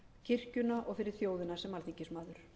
kirkjuna og fyrir þjóðina sem alþingismaður